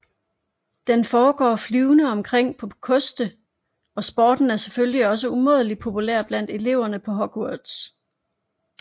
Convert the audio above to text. Den foregår flyvende omkring på koste og sporten er selvfølgelig også umådeligt populær blandt eleverne på Hogwarts